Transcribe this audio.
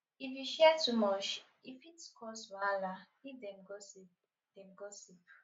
if you share too much e fit cause wahala if dem gossip dem gossip